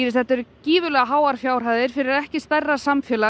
þetta eru gífurlegar fjárhæðir fyrir ekki stærra samfélag